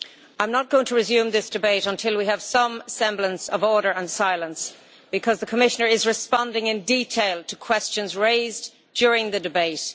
I am not going to resume this debate until we have some semblance of order and silence because the Commissioner is responding in detail to questions raised during the debate.